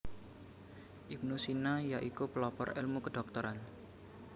Ibnu Sina ya iku pelopor elmu kedhokteran